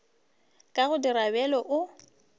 ka go dira bjalo o